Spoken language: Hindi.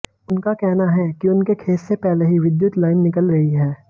उनका कहना है कि उनके खेत से पहले ही विद्युत लाइन निकल रही है